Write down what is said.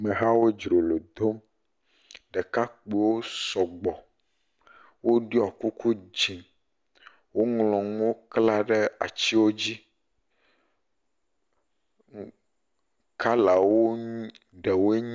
Ame hawo dzrolo dom, ɖekakpuiwo sɔgbɔ, woɖɔ kuku dze, woŋlɔ nuwo kla ɖe atiwo dzi. Kalawo ɖewoe nye…